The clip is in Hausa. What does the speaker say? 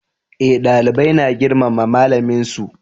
Eh dalibai na girmama malamin su